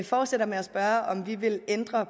fortsætter med at spørge om vi vil ændre